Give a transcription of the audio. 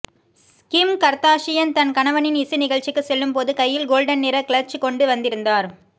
கிம் Kardashian தன் கணவனின் இசை நிகழ்ச்சிக்கு செல்லும் போது கையில் கோல்டன் நிற க்ளட்ச் கொண்டு வந்திருந்தார்